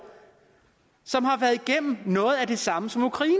som har været igennem noget af det samme som ukraine